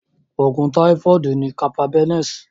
Òògùn táífọ̀dù ni Carbapenems.